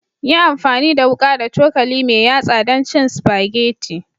Yi amfani da wuka da cokali mai yatsa don cin spaghetti